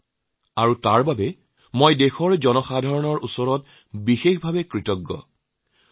সেয়ে হয়তু ইমান কম সময়ত দেশৰ সাধাৰণ লোকসকলৰ আবেগক জানিবুজি লোৱাৰ বাবে যি সুযোগ মোৰ হৈছে তাৰ বাবে মই দেশবাসীৰ ওচৰত অতি কৃতজ্ঞ